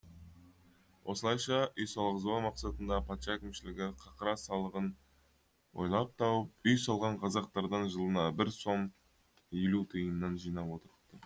осылайша үй салғызбау мақсатында патша әкімшілігі қақыра салығын ойлап тауып үй салған қазақтардан жылына бір сом елу тиыннан жинап отырыпты